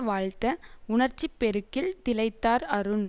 வாழ்த்த உணர்ச்சி பெருக்கில் திளைத்தார் அருண்